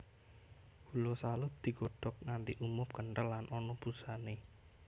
Gula salut digodhog nganti umup kenthel lan ana busane